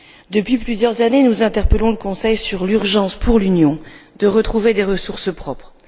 Depuis plusieurs années, nous interpellons le Conseil sur l'urgence pour l'Union de retrouver des ressources propres.